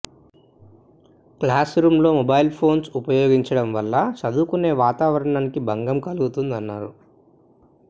class రూంలో mobiles phones ఉపయోగించడం వల్ల చదువుకునే వాతావరణానికి భంగం కలుగుతుందన్నారు